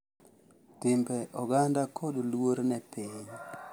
Timbe oganda, kod luor ne piny.